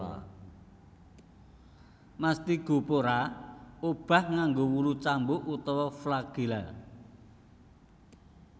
Mastigaphora obah nganggo wulu cambuk utawa flagela